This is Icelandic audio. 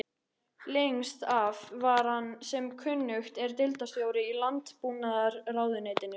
Lengst af var hann sem kunnugt er deildarstjóri í landbúnaðarráðuneytinu.